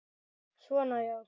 Svona, já.